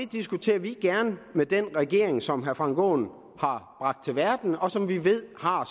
diskuterer vi gerne med den regering som herre frank aaen har bragt til verden og som vi ved har